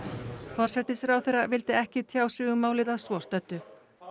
forsætisráðherra vildi ekki tjá sig um málið að svo stöddu